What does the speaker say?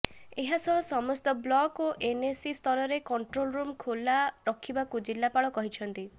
ଏହାସହ ସମସ୍ତ ବ୍ଲକ ଓ ଏନଏସି ସ୍ତରରେ କଣ୍ଟ୍ରୋଲ ରୁମ ଖୋଲା ରଖିବାକୁ ଜିଲ୍ଲାପାଳ କହିଛନ୍ତି